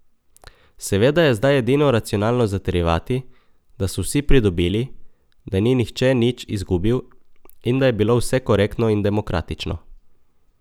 Seveda je zdaj edino racionalno zatrjevati, da so vsi pridobili, da ni nihče nič izgubil in da je bilo vse korektno in demokratično.